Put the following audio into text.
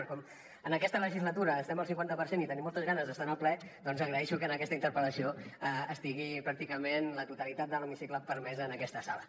però com que en aquesta legislatura estem al cinquanta per cent i tenim moltes ganes d’estar en el ple doncs agraeixo que en aquesta interpel·lació estigui pràcticament la totalitat de l’hemicicle permès en aquesta sala